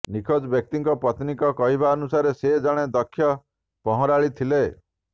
ନିଖୋଜ ବ୍ୟକ୍ତିଙ୍କ ପତ୍ନୀଙ୍କ କହିବାନୁସାରେ ସେ ଜଣେ ଦକ୍ଷ ପହଁରାଳି ଥିଲେ